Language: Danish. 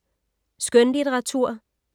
Skønlitteratur